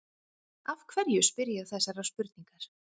Af hverju spyr ég þessarar spurningar?